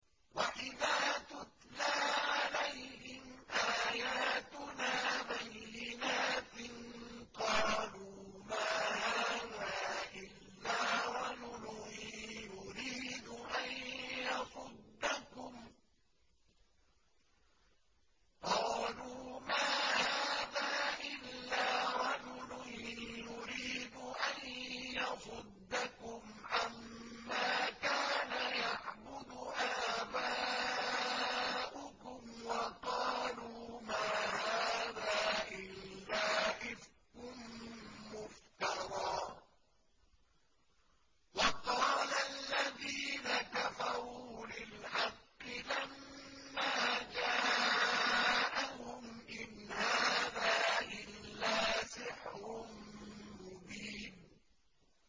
وَإِذَا تُتْلَىٰ عَلَيْهِمْ آيَاتُنَا بَيِّنَاتٍ قَالُوا مَا هَٰذَا إِلَّا رَجُلٌ يُرِيدُ أَن يَصُدَّكُمْ عَمَّا كَانَ يَعْبُدُ آبَاؤُكُمْ وَقَالُوا مَا هَٰذَا إِلَّا إِفْكٌ مُّفْتَرًى ۚ وَقَالَ الَّذِينَ كَفَرُوا لِلْحَقِّ لَمَّا جَاءَهُمْ إِنْ هَٰذَا إِلَّا سِحْرٌ مُّبِينٌ